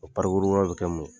O bɛ kɛ mun ye?